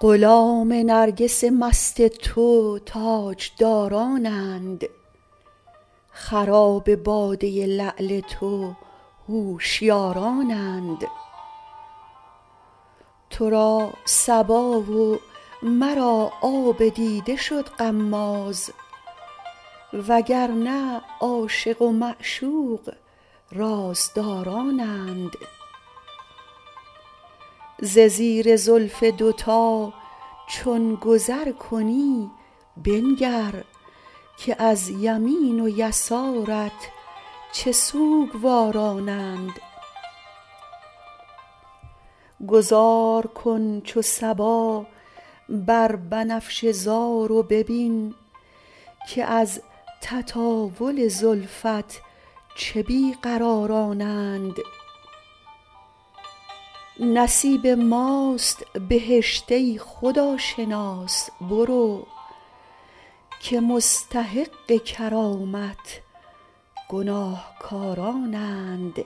غلام نرگس مست تو تاجدارانند خراب باده لعل تو هوشیارانند تو را صبا و مرا آب دیده شد غماز و گر نه عاشق و معشوق رازدارانند ز زیر زلف دوتا چون گذر کنی بنگر که از یمین و یسارت چه سوگوارانند گذار کن چو صبا بر بنفشه زار و ببین که از تطاول زلفت چه بی قرارانند نصیب ماست بهشت ای خداشناس برو که مستحق کرامت گناهکارانند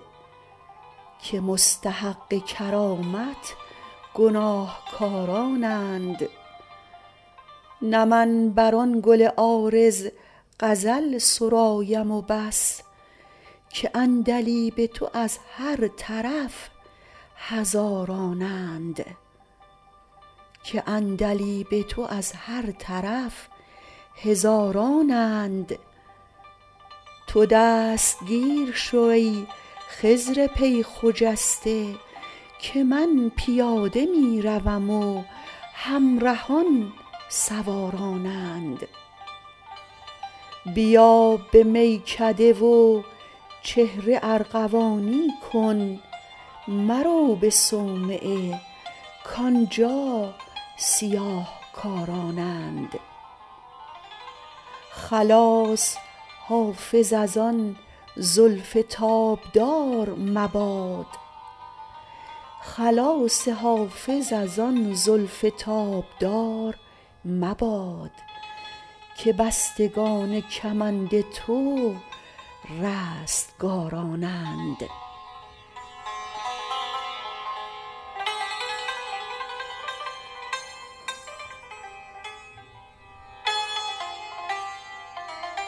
نه من بر آن گل عارض غزل سرایم و بس که عندلیب تو از هر طرف هزارانند تو دستگیر شو ای خضر پی خجسته که من پیاده می روم و همرهان سوارانند بیا به میکده و چهره ارغوانی کن مرو به صومعه کآنجا سیاه کارانند خلاص حافظ از آن زلف تابدار مباد که بستگان کمند تو رستگارانند